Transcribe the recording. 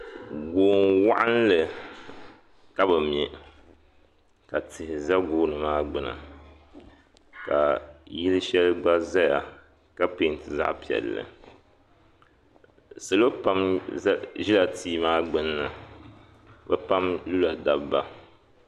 Goon'waɣinli ka bɛ me ka tihi za gooni maa gbuni ka yili shɛli gba zaya ka peenti zaɣ'piɛlli salo pam ʒila tia maa gbunni bɛ pam lula dabba.